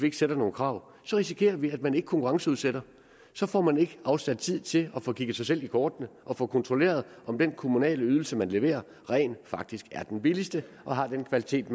ikke stiller nogen krav risikerer vi at man ikke konkurrenceudsætter så får man ikke afsat tid til at få kigget sig selv i kortene og få kontrolleret om den kommunale ydelse man leverer rent faktisk er den billigste og har den kvalitet